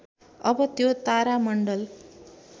अब त्यो तारामण्डल